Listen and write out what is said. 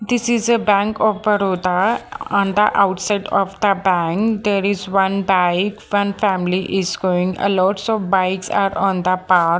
this is a bank of baroda and the outside of the bank there is one bike one family is going alone so bikes are on the path.